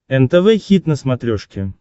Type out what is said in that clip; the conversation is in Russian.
нтв хит на смотрешке